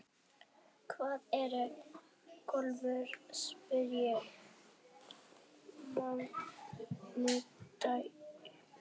Hvað ertu gömul, spyr maðurinn.